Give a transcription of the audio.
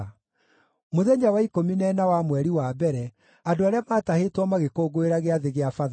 Mũthenya wa ikũmi na ĩna wa mweri wa mbere, andũ arĩa maatahĩtwo magĩkũngũĩra Gĩathĩ gĩa Bathaka.